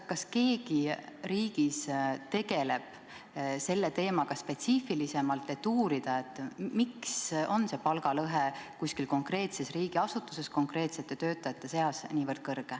Kas keegi riigis tegeleb selle teemaga spetsiifilisemalt ja uurib, miks on palgalõhe kuskil konkreetses riigiasutuses konkreetsete töötajate puhul nii suur?